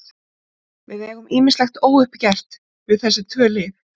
Við eigum ýmislegt óuppgert við þessi tvö lið.